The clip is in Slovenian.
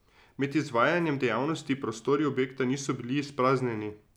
Med izvajanjem dejavnosti prostori objekta niso bili izpraznjeni.